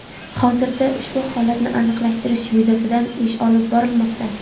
Hozirda ushbu holatni aniqlashtirish yuzasidan ish olib borilmoqda.